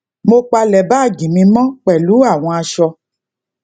mo palẹ báàgì mi mọ pẹlú àwọn aṣọ